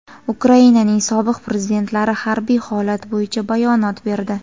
Ukrainaning sobiq prezidentlari harbiy holat bo‘yicha bayonot berdi.